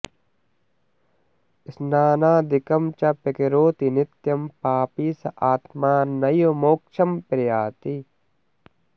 स्नानादिकं च प्रकरोति नित्यं पापी स आत्मा नैव मोक्षं प्रयाति